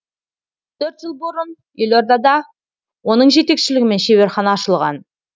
төрт жыл бұрын елордада оның жетекшілігімен шеберхана ашылған